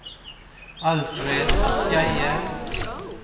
Alfred Skeie